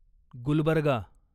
Gulbarga